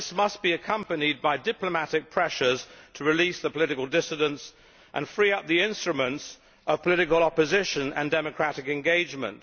But this must be accompanied by diplomatic pressures to release the political dissidents and free up the instruments of political opposition and democratic engagement.